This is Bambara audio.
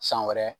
San wɛrɛ